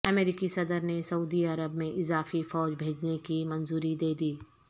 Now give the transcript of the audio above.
امریکی صدر نے سعودی عرب میں اضافی فوج بھیجنے کی منظوری دیدی